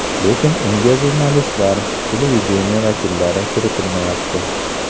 Lekin unga jurnalistlar, televideniye vakillari kiritilmayapti.